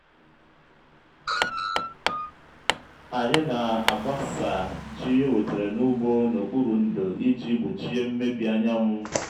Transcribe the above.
anyị na-agbasa ji ewetere n'úgbó n'okpuru ndò iji gbochie mmebi anyanwụ.